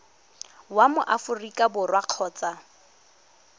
wa mo aforika borwa kgotsa